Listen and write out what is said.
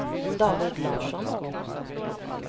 David Larsson